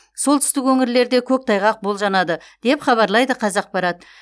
солтүстік өңірлерде көктайғақ болжанады деп хабарлайды қазақпарат